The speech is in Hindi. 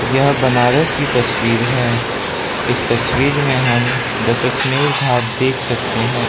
यह बनारस की तस्वीर है इस तस्वीर में हम दशाश्वमेध घाट देख सकते हैं।